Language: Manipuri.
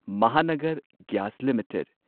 Mahanagar gas limited